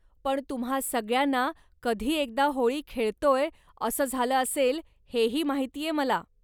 पण तुम्हा सगळ्यांना कधी एकदा होळी खेळतोय असं झालं असेल हेही माहितीये मला.